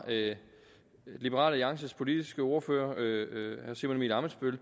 liberal alliances politiske ordfører herre simon emil ammitzbøll